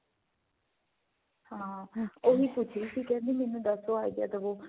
ਹਾਂ ਉਹੀ ਪੁੱਛ ਰਹੀ ਸੀ ਕਹਿੰਦੀ ਮੈਨੂੰ ਦੱਸੋ idea ਦਵੋ